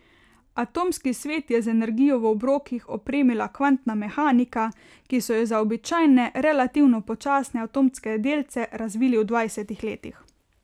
Atomski svet je z energijo v obrokih opremila kvantna mehanika, ki so jo za običajne, relativno počasne atomske delce razvili v dvajsetih letih.